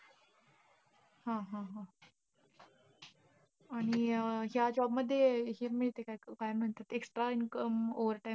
हा हा, हा. आणि ह्या job मध्ये हे मिळतं का, अं काय म्हणत्यात extra income overtime.